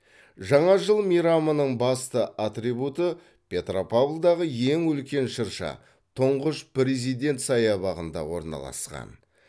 жаңа жыл мейрамының басты атрибуты петропавлдағы ең үлкен шырша тұңғыш президент саябағында орналасқан